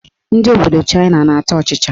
Ndị obodo Chaịna na-ata ọchịchị.